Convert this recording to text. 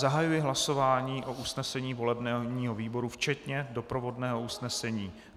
Zahajuji hlasování o usnesení volebního výboru včetně doprovodného usnesení.